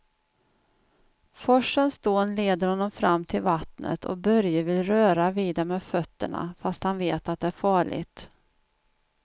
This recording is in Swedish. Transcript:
Forsens dån leder honom fram till vattnet och Börje vill röra vid det med fötterna, fast han vet att det är farligt.